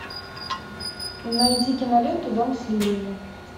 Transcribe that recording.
найди киноленту дом с лилиями